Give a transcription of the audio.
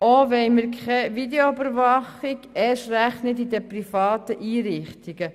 Auch wollen wir keine Videoüberwachung, erst recht nicht in den privaten Einrichtungen.